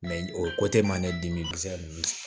o ma ne dimi